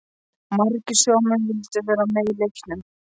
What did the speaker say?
Margir sjómenn vildu vera með í leiknum.